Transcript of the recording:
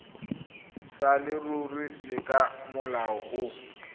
sa leruri le ka molao